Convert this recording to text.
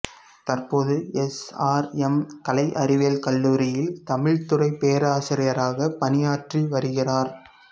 தற்போது S R M கலை அறிவியல் கல்லூரியில் தமிழ்த்துறைப் பேராசிரியராகப் பணியாற்றி வருகிறார்